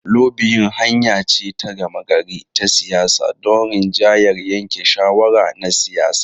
Lobiyin hanya ce ta gama gari ta siyasa don rinjayar yanke shawara na siyasa.